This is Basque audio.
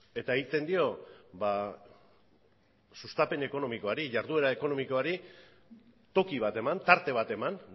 eta egiten dio sustapen ekonomikoari jarduera ekonomikoari toki bat eman tarte bat eman